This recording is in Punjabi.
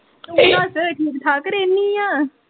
ਤੂੰ ਕਿਉ ਹੱਸ ਬੈਠੀ ਠਾਕੁਰ ਏਨੀ ਆ